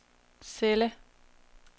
celle